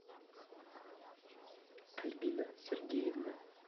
альбина сергеевна